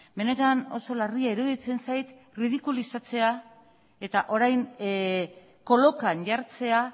benetan oso larria iruditzen zait erridikulizatzea eta orain kolokan jartzea